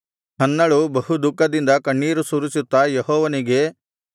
ಹನ್ನಳು ಬಹುದುಃಖದಿಂದ ಕಣ್ಣೀರು ಸುರಿಸುತ್ತಾ ಯೆಹೋವನಿಗೆ